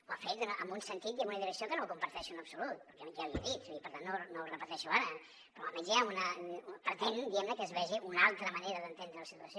ho ha fet en un sentit i amb una direcció que no comparteixo en absolut ja li he dit i per tant no ho repeteixo ara però almenys pretén que es vegi una altra manera d’entendre la situació